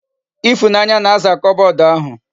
Ifunanya na-aza kobod ahu